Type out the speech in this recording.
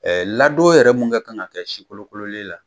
ladon yɛrɛ mun kɛ kan ka kɛ sikolokololen la